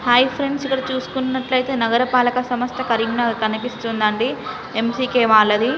Hi friends ఇక్కడ చుస్కున్నట్లయితే నగర పాలక సంస్థ కరీంనగర్ కనిపిస్తుందండి ఎం_సి_కే మాల్ అది .